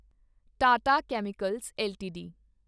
Tata chemicals LTD